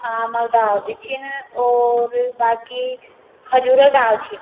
आमा डाल भी छिन और बाकी खजूर क डाल छि।